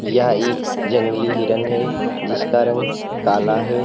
यह एक जंगली हिरन है जिसका रंग काला है।